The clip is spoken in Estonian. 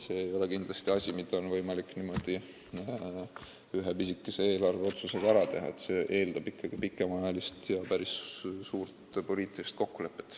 See ei ole kindlasti asi, mida oleks võimalik ühe pisikese eelarveotsusega ära teha, see eeldab ikkagi pikemaajalist ja päris suurt poliitilist kokkulepet.